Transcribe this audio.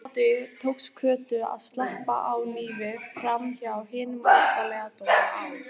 Eftir hádegi tókst Kötu að sleppa á lífi framhjá hinum óttalega Dóra á